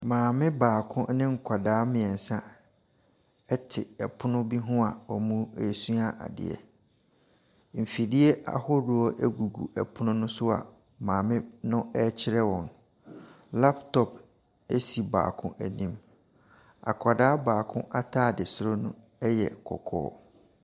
Maame baako ne nkwadaa mmiɛnsa te pono bi ho a wɔresua adeɛ, mfidie ahodoɔ gugu pono no so a maame no rekyerɛ wɔn. Laptop si baako anim. Akwadaa ataade soro no yɛ kɔkɔɔ.